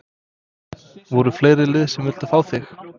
Voru fleiri lið sem að vildu fá þig?